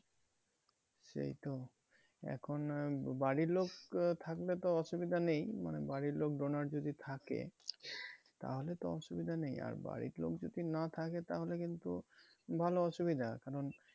সেই তো এখন আহ বাড়ির লোক আহ থাকলে তো অসুবিধা নেই মানে বাড়ির লোক donor যদি থাকে তাহলে তো অসুবিধা নেই। আর বাড়ির লোক যদি না থাকে তাহলে কিন্তু ভালো অসুবিধা কারণ